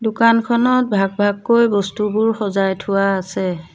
দোকানখনত ভাগ ভাগকৈ বস্তুবোৰ সজাই থোৱা আছে।